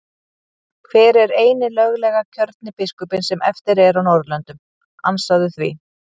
Hver er eini löglega kjörni biskupinn sem eftir er á Norðurlöndum, ansaðu því?